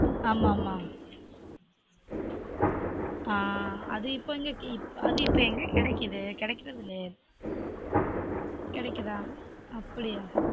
ஆமா ஆமா ஆன் அது இப்ப எங்க கெடைக்குது கெடைகிரது இல்லயே கிடைகுதா அப்டியா